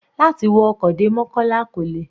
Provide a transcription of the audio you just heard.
Láti wọ ọkọ̀ dé mokola kò le.